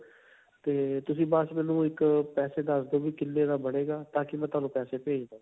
ਤੇ ਤੁਸੀਂ ਬਸ ਮੈਨੂੰ ਇੱਕ ਪੈਸੇ ਦੱਸਦੋ ਵੀ ਕਿੰਨੇ ਦਾ ਬਣੇਗਾ ਤਾਕਿ ਮੈਂ ਤੁਹਾਨੂੰ ਪੈਸੇ ਭੇਜ ਦਵਾਂ.